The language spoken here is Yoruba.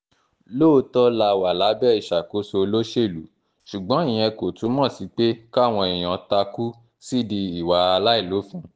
lóòótọ́ la wà lábẹ́ ìṣàkóso olóṣèlú ṣùgbọ́n ìyẹn kò túmọ̀ sí pé káwọn èèyàn takú sídìí ìwà àìlófin